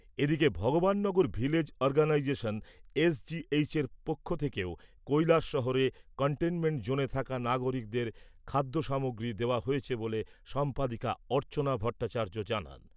এদিকে Bhagabannagar village organisation এসজিএইচের পক্ষ থেকেও কৈলাসহরে কনটেইনমেন্ট জোনে থাকা নাগরিকদের খাদ্যসামগ্রী দেওয়া হয়েছে বলে সম্পাদিকা অর্চনা ভট্টাচার্য জানান।